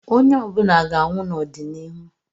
Onye ọ bụla ga-anwụ n'ọdịnihu.